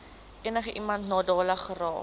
enigiemand nadelig geraak